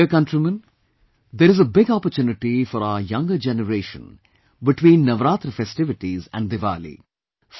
My dear countrymen, there is a big opportunity for our younger generation between Navratra festivities and Diwali